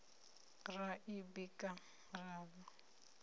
ra i bika ra ḽa